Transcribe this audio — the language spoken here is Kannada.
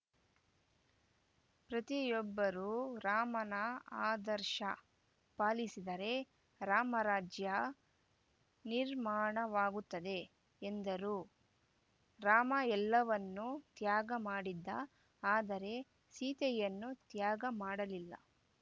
ಪ್ರತಿಯೊಬ್ಬರೂ ರಾಮನ ಆದರ್ಶ ಪಾಲಿಸಿದರೆ ರಾಮರಾಜ್ಯ ನಿರ್ಮಾಣವಾಗುತ್ತದೆ ಎಂದರು ರಾಮ ಎಲ್ಲವನ್ನೂ ತ್ಯಾಗ ಮಾಡಿದ ಆದರೆ ಸೀತೆಯನ್ನು ತ್ಯಾಗ ಮಾಡಲಿಲ್ಲ